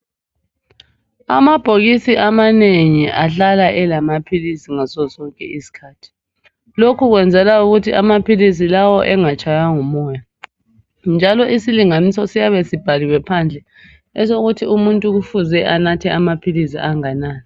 Amabhokisi amanengi ahlala elamaphilisi ngasosonke isikhathi lokhukwenzela ukuthi amaphilisi engatshaywa ngumoya njalo isilinganiso siyabe sibhaliwe ngaphandle esokuthi umuntu kufuze anathe amaphilisi anganani